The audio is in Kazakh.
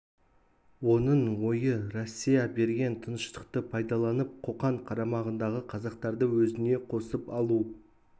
оның ойы россия берген тыныштықты пайдаланып қоқан қарамағындағы қазақтарды өзіне қосып алу